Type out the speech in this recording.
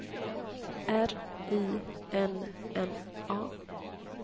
R I N N A